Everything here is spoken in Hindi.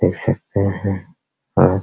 देख सकते हैं और --